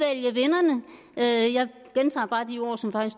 af